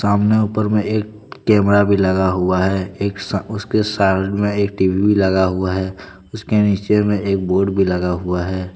ऊपर में एक कैमरा भी लगा हुआ है उसके साथ में एक टी_वी भी लगा हुआ है उसके नीचे में एक बोर्ड भी लगा हुआ है।